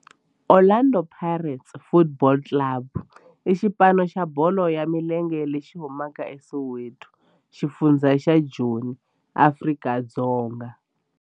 Orlando Pirates Football Club i xipano xa bolo ya milenge lexi humaka eSoweto, xifundzha xa Joni, Afrika-Dzonga.